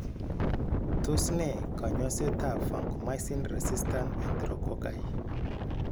Tos ne kanyoseet ab vancomycin resistant enterococci?